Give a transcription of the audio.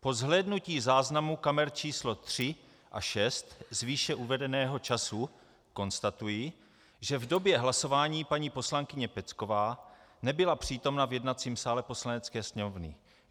Po zhlédnutí záznamu kamer číslo 3 a 6 z výše uvedeného času konstatuji, že v době hlasování paní poslankyně Pecková nebyla přítomna v jednacím sále Poslanecké sněmovny.